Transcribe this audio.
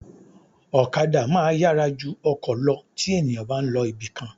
Ọ̀kadà máa yára ju ọkọ̀ lọ tí ènìyàn bá ń lọ ibìkan